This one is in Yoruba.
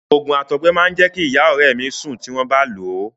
Òògùn àtọgbẹ máa jẹ́ kí ìyá ọ̀rẹ́ mi sùn tí wọ́n bá lòó.